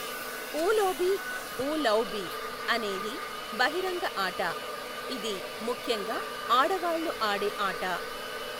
ఊలోబి, వూ లౌబి, అనేది బహిరంగ ఆట, ఇది ముఖ్యంగా ఆడవాళ్ళు ఆడే ఆట.